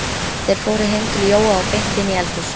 Þeir fóru heim til Jóa og beint inn í eldhús.